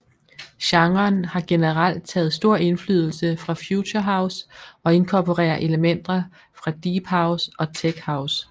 Genren har generelt taget stor indflydelse fra future house og inkorporerer elementer fra deephouse og techhouse